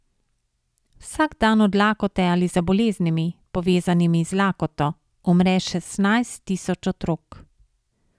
Vsak dan od lakote ali za boleznimi, povezanimi z lakoto, umre šestnajst tisoč otrok.